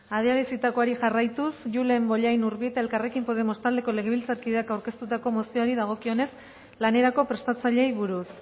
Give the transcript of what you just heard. adierazitakoari jarraituz julen bollain urbieta elkarrekin podemos taldeko legebiltzarkideak aurkeztutako mozioari dagokionez lanerako prestatzaileei buruz